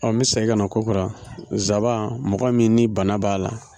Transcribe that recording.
n bɛ segin ka na kokura nzaban mɔgɔ min ni bana b'a la.